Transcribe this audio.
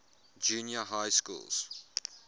junior high schools